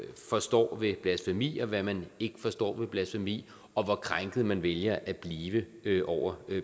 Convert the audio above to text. forstår ved blasfemi og hvad man ikke forstår ved blasfemi og hvor krænket man vælger at blive over